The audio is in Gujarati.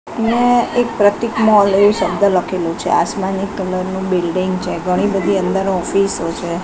ને એક પ્રતીક મૉલ એવુ શબ્દ લખેલુ છે આસમાની કલર નું બિલ્ડિંગ છે ઘણી બધી અંદર ઑફિસો છે.